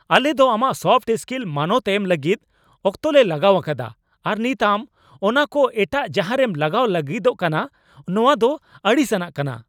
ᱟᱞᱮ ᱫᱚ ᱟᱢᱟᱜ ᱥᱚᱯᱷᱴ ᱥᱠᱤᱞ ᱢᱟᱱᱚᱛ ᱮᱢ ᱞᱟᱹᱜᱤᱫ ᱚᱠᱛᱚ ᱞᱮ ᱞᱟᱜᱟᱣ ᱟᱠᱟᱫᱟ ᱟᱨ ᱱᱤᱛ ᱟᱢ ᱚᱱᱟ ᱠᱚ ᱮᱴᱟᱜ ᱡᱟᱦᱟᱨᱮᱢ ᱞᱟᱜᱟᱣ ᱞᱟᱹᱜᱤᱫᱚᱜ ᱠᱟᱱᱟ ? ᱱᱚᱣᱟ ᱫᱚ ᱟᱹᱲᱤᱥ ᱟᱱᱟᱜ ᱠᱟᱱᱟ